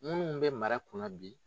Munnuw bɛ mara kun na bi.